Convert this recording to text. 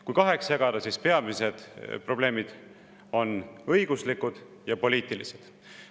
Kui kaheks jagada, siis peamised probleemid on õiguslikud ja poliitilised.